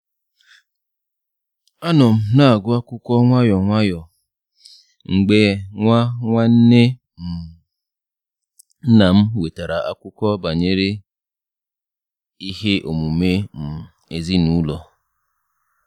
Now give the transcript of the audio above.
Anọ m na-agụ akwụkwọ nwayọ nwayọ mgbe nwa nwanne um nnam wetara akụkọ banyere ihe omume um ezinụlọ.